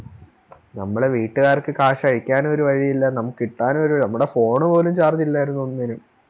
നമ്മളെ വീട്ടുകാർക്ക് കാശ് അയക്കാനും ഒരു വഴിയുല്ല നമുക്ക് കിട്ടാനും നമ്മുടെ Phone പോലും Charge ഇല്ലാരുന്നു ഒന്നിനും